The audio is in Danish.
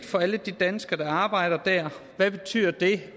for alle de danskere der arbejder der hvad betyder det